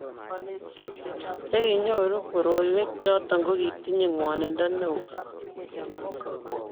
che kinyoru koroiwek choto ko kitinyeing'wonindo neoo